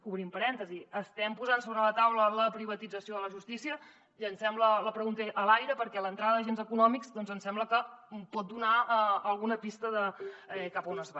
obrim parèntesi estem posant sobre la taula la privatització de la justícia llancem la pregunta a l’aire perquè l’entrada d’agents econòmics doncs ens sembla que pot donar alguna pista de cap a on es va